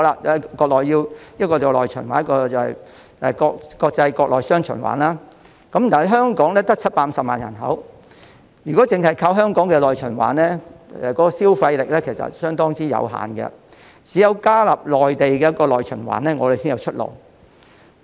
國家需要內循環和國內國際雙循環，但香港只有750萬人口，如果只靠香港的內循環，消費力其實相當有限，只有加入內地的內循環，我們才有出路。